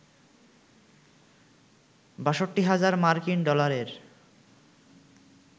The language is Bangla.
৬২ হাজার মার্কিন ডলারের